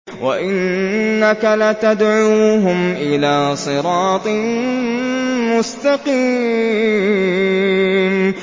وَإِنَّكَ لَتَدْعُوهُمْ إِلَىٰ صِرَاطٍ مُّسْتَقِيمٍ